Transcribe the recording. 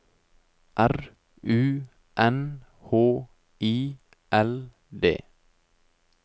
R U N H I L D